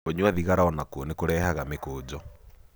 Kũnyua thigara onakuo nĩ kũrehaga mĩkũjo